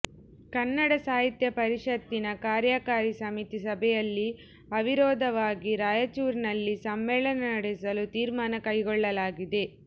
ಕನ್ನಡ ಸಾಹಿತ್ಯ ಪರಿಷತ್ತಿನ ಕಾರ್ಯಕಾರಿ ಸಮಿತಿ ಸಭೆಯಲ್ಲಿ ಅವಿರೋಧವಾಗಿ ರಾಯಚೂರಿನಲ್ಲಿ ಸಮ್ಮೇಳನ ನಡೆಸಲು ತೀರ್ಮಾನ ಕೈಗೊಳ್ಳಲಾಗಿದೆ